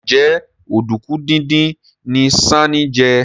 Njé Oduku dín dín ní Sesan jé?